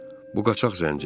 Bu qaçaq zənci.